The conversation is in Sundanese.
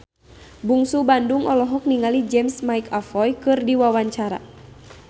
Bungsu Bandung olohok ningali James McAvoy keur diwawancara